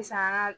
Sisan ka